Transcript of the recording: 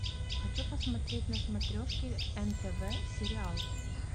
хочу посмотреть на смотрешке нтв сериал